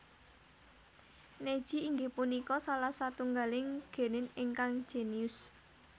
Neji inggih punika salah satunggaling genin ingkang genius